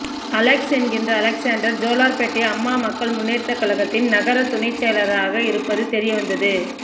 Alex என்கிற Alexander Jolarpettai Amma Makkal Munnetra கழகத்தின் நகர துணைச் செயலாளராக இருப்பது தெரியவந்தது